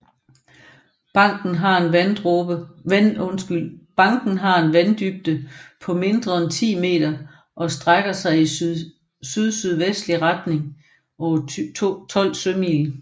Banken har en vanddybde på mindre end 10 meter og strækker sig i sydsydvestlig retning over 12 sømil